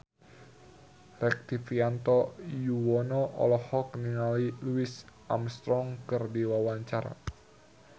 Rektivianto Yoewono olohok ningali Louis Armstrong keur diwawancara